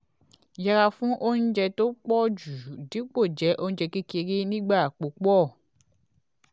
yẹra fún oúnjẹ tó po ju dípò je oúnjẹ kékeré nigba pupo